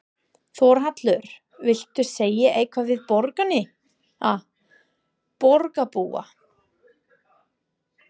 Þórhallur: Viltu segja eitthvað við borgina, borgarbúa?